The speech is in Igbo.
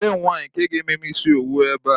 Olee nwaanyi nke ga-eme m isi owu ebe a?